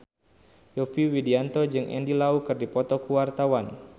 Yovie Widianto jeung Andy Lau keur dipoto ku wartawan